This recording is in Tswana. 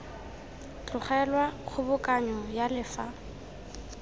tlogelwa kgobokanyo ya le fa